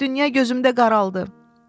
Dünya gözümdə qaraldı.